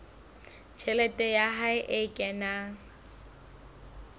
tjhelete ya hae e kenang